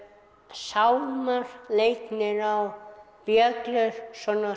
sálmar leiknir á bjöllur svona